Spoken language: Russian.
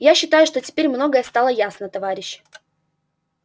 я считаю что теперь многое стало ясно товарищи